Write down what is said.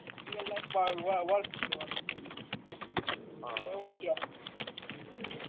real life માં work કરવાનું એટલે એવું હમ